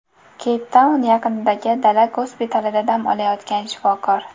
Keyptaun yaqinidagi dala gospitalida dam olayotgan shifokor.